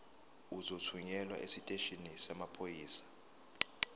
uzothunyelwa esiteshini samaphoyisa